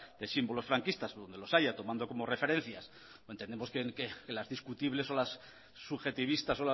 de símbolos franquista donde los haya tomando como referencia entendemos que las discutibles o las subjetivistas